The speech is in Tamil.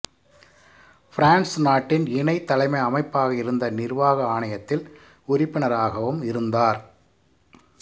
பிரான்சு நாட்டின் இணை தலைமை அமைப்பாக இருந்த நிர்வாக ஆணையத்தில் உறுப்பினராகவும் இருந்தார்